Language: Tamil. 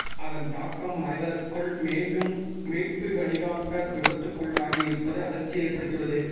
அதன் தாக்கம் மறைவதற்குள் மீண்டும் மீட்பு ஹெலிகாப்டர் விபத்துக்குள்ளாகி இருப்பது அதிர்ச்சியை ஏற்படுத்தி உள்ளது